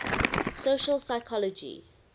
social psychology